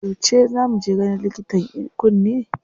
Yauce za mu je ganin likitan kunne?